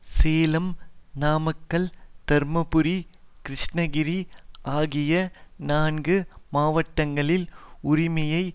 சேலம் நாமக்கல் தர்மபுரி கிருஷ்ணகிரி ஆகிய நான்கு மாவட்டங்களின் உரிமையை